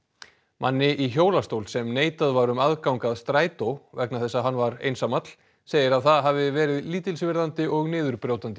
manni í hjólastól sem neitað var um aðgang að strætó vegna þess að hann var einsamall segir að það hafi verið lítilsvirðandi og niðurbrjótandi